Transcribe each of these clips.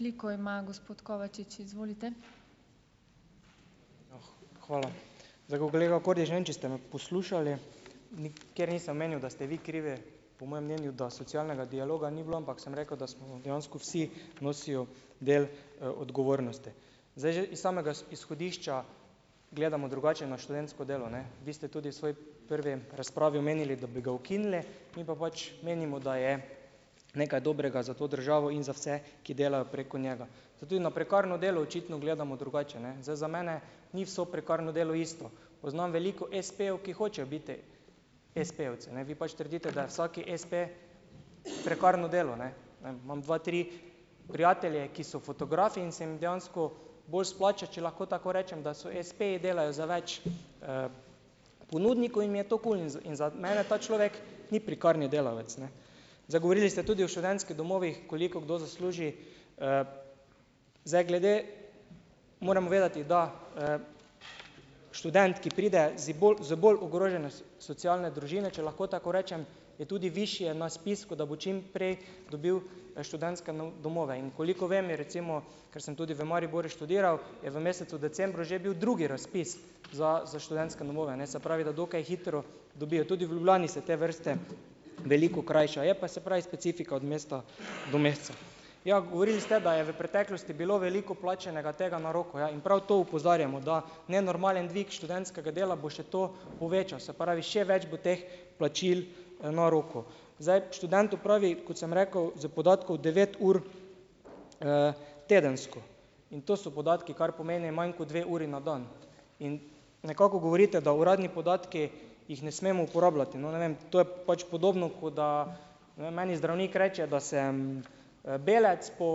Hvala. Zdaj, ko kolega Kordiš, ne vem, če ste me poslušali, nikjer nisem omenil, da ste vi krivi, po mojem mnenju, da socialnega dialoga ni bilo, ampak sem rekel, da smo dejansko vsi nosijo del, odgovornosti. Zdaj, že iz samega izhodišča gledamo drugače na študentsko delo, ne. Vi ste tudi svoji prvi razpravi omenili, da bi ga ukinili, mi pa pač menimo, da je nekaj dobrega za to državo in za vse, ki delajo preko njega. Tudi na prekarno delo očitno gledamo drugače, ne. Zdaj, za mene ni vse prekarno delo isto. Poznam veliko espejev, ki hočejo biti espejevci, ne. Vi pač trdite, da je vsaki espe prekarno delo, ne. Ne vem, imam dva, tri prijatelje, ki so fotografi in se jim dejansko bolj splača, če lahko tako rečem, da so espeji, delajo za več ponudnikov in im je to kul. In za za mene ta človek ni prekarni delavec, ne. Zdaj, govorili ste tudi o študentskih domovih, koliko kdo zasluži. Zdaj, glede ... Moramo vedeti, da, študent, ki pride zdi bolj z bolj ogrožene socialne družine, če lahko tako rečem, je tudi višje na spisku, da bo čim prej dobil študentske domove. In koliko vem, je, recimo, ker sem tudi v Mariboru študiral, je v mesecu decembru že bil drugi razpis za za študentske domove, ne. Se pravi, da dokaj hitro dobijo. Tudi v Ljubljani se te vrste veliko krajša. Je pa, se pravi, specifika od mesta do meseca. Ja, govorili ste, da je v preteklosti bilo veliko plačanega tega na roko. Ja, in prav to opozarjamo. Da nenormalen dvig študentskega dela bo še to povečal. Se pravi, še več bo teh plačil na roko. Zdaj, študent opravi, kot sem rekel, iz podatkov devet ur tedensko, in to so podatki, kar pomeni manj kot dve uri na dan. In nekako govorite, da uradni podatki, jih ne smem uporabljati. No, ne vem, to je pač podobno kot da, ne bom, meni zdravnik reče, da sem, belec, po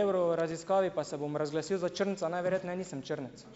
evroraziskavi pa se bom razglasil za črnca, najverjetneje nisem črnec.